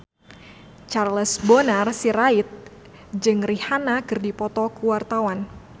Charles Bonar Sirait jeung Rihanna keur dipoto ku wartawan